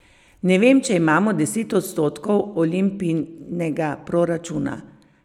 Ne vem, če imamo deset odstotkov Olimpijinega proračuna.